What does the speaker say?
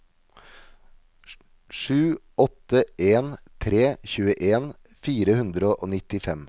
sju åtte en tre tjueen fire hundre og nittifem